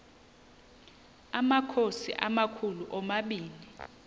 amakhosi amakhulu omabini